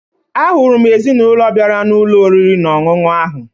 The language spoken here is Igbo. Ahụrụ m ezinụlọ bịara n'ụlọ oriri na ọṅụṅụ ahụ